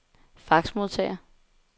faxmodtager